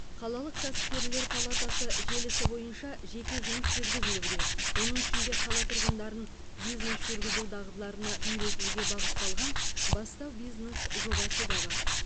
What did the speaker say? қалалық кәсіпкерлер палатасы желісі бойынша жеке жұмыс жүргізілуде оның ішінде қала тұрғындарын бизнес жүргізу дағдыларына үйретуге бағытталған бастау бизнес жобасы да бар